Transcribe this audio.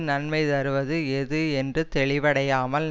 நன்மை தருவது எது என்று தெளிவடையாமல்